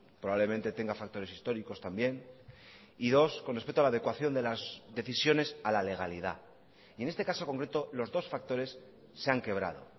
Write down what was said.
probablemente tenga factores históricos también y dos con respecto a la adecuación de las decisiones a la legalidad y en este caso concreto los dos factores se han quebrado